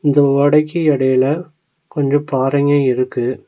இந்த ஓடைக்கு எடைல கொஞ்ச பாறைங்க இருக்கு.